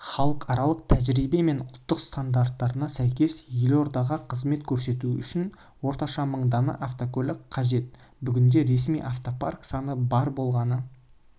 халықаралық тәжірибе мен ұлттық стандарттарына сәйкес елордаға қызмет көрсету үшін орташа мың дана автокөлік қажет бүгінде ресми автопарк саны бар болғаны